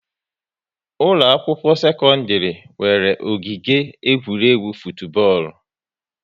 Ụlọ akwụkwọ sekọndrị nwere ogige egwuregwu futubọọlụ